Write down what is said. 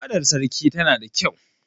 Fadar Sarkin tana da kyau.